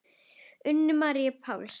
Unu Maríu Páls.